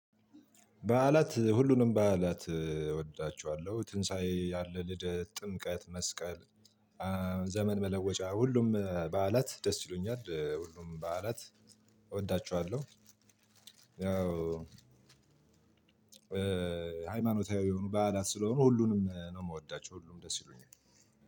በዓላት ሁሉንም በዓላት እወዳችኋለሁ ትንሳኤ አለ፣ ልደት፣ ጥምቀት፣ መስቀል፣ ዘመን መለወጫ ሁሉም በዓት ደስ ይሉኛል ሁሉም በዓላት እወዳችኋለሁ። ያው ሃይማኖታዊ የሆኑ በዓላት ስለሆኑ ሁሉንም ነው የምወዳቸው ሁሉም ደስ ይሉኛል።